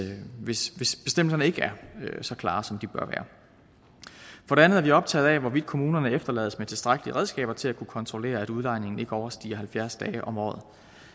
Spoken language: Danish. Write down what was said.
hvis bestemmelserne ikke er så klare som de bør være for det andet er vi optaget af hvorvidt kommunerne efterlades med tilstrækkelige redskaber til at kunne kontrollere at udlejningen ikke overstiger halvfjerds dage om året